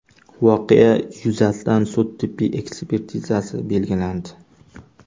Voqea yuzasidan sud tibbiy ekspertizasi belgilandi.